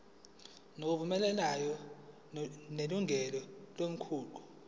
ngokuvumelana nelungu lomkhandlu